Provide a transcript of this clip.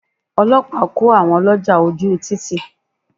Ọlọ́pàá kó àwọn ọlọ́jà ojú u títì.